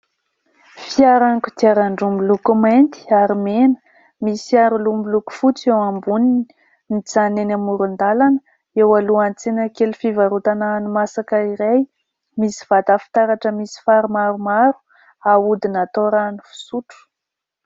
Fiara kodiaran-droa miloko mainty ary mena misy aroloha miloko fotsy eo ambony. Mijanona eny amoron-dalana eo alohan'ny tsena kely fivarotana hanimasaka iray misy vata fitaratra misy fary maromaro ahodina atao rano fisotro.